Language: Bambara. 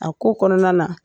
A ko kɔnɔna na